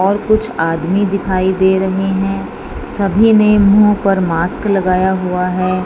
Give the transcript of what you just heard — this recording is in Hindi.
और कुछ आदमी दिखाई दे रहे हैं सभी ने मुंह पर मास्क लगाया हुआ है।